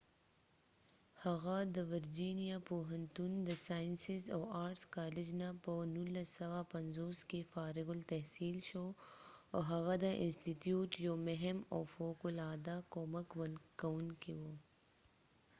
هفه د ورجېنیا پوهنتون د ساینسز او آرټس کالج نه په 1950 کې فارغ التحصیل شو .او هغه د انستیتیوت یو مهم او فوق العاده کومک کوونکې و